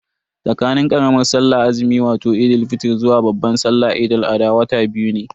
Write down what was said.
Tsakanin karamar sallar azumi wato Eid fitr zuwa babban salla wato Eid al-adha wata biyu ne.